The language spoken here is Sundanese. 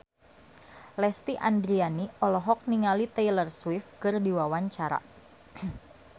Lesti Andryani olohok ningali Taylor Swift keur diwawancara